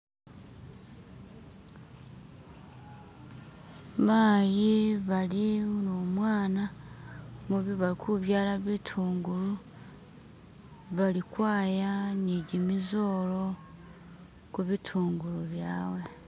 Mayi bali numwana balikubyala bitungulu, bali kwaya ni gimizola kubitungulu byawe.